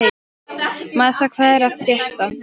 Marsa, hvað er að frétta?